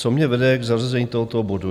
Co mě vede k zařazení tohoto bodu?